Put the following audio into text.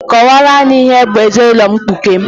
Kọwaara anyị ihe bụ ezinaụlọ mkpuke!